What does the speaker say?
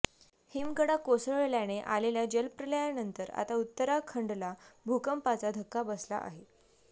हिमकडा कोसळल्याने आलेल्या जलप्रलयानंतर आता उत्तराखंडला भूकंपाचा धक्का बसला आहे